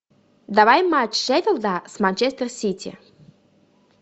давай матч шеффилда с манчестер сити